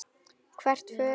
Hvert förum við?